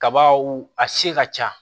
Kabaw a se ka ca